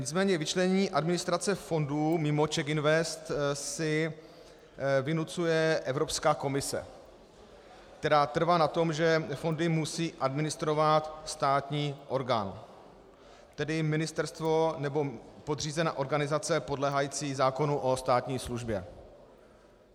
Nicméně vyčlenění administrace fondu mimo CzechInvest si vynucuje Evropská komise, která trvá na tom, že fondy musí administrovat státní orgán, tedy ministerstvo nebo podřízená organizace podléhající zákonu o státní službě.